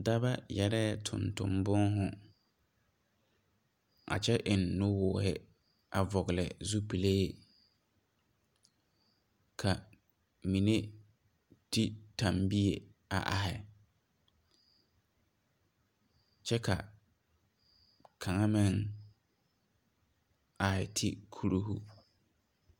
Daba yɛreɛ tonton boohu. A kyɛ eŋ nu wuuhe a vogle zupuleɛ. Ka mene te tambie a arhe kyɛ ka kanga meŋ arhe te kuruhu